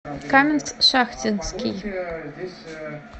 каменск шахтинский